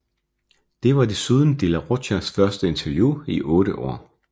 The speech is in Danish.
Det var desuden de la Rochas første interview i otte år